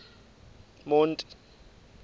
monti